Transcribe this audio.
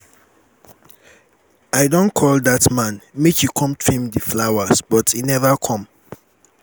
i don call dat man um make he come trim the um flowers but he never come